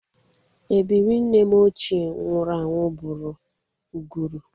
Ebiri nne m ochie nwụrụ anwụ bụrụ ụgụrụ